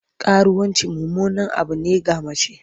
Karuwanci mummunan abu ne ga mace.